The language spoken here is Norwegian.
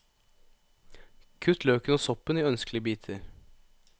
Kutt løken og soppen i ønskelige biter.